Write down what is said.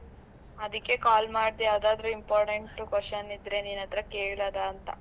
ಅದಿಕ್ಕೆ call ಮಾಡ್ದೆ ಯಾವ್ದಾದ್ರು important question ಇದ್ರೆ ನಿನ್ ಹತ್ರ ಕೇಳದಾ ಅಂತಾ?